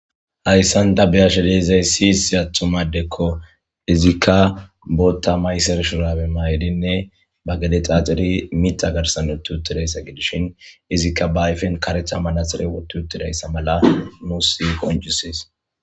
hayssan ta beyashedeizay siyisi atthumadekko izikka bootta maysershurabe maydinne ba gale xaaxiri mita garsanotu uttidayssa gidishin izikka ba ayfen karetha malaxire wotu uttirayssa mala nu si qonjusis